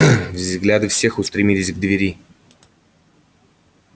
взгляды всех устремились к двери